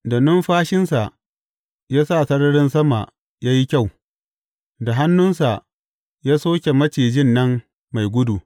Da numfashinsa ya sa sararin sama ya yi kyau da hannunsa ya soke macijin nan mai gudu.